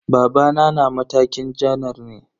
Babana na matakin janar ne.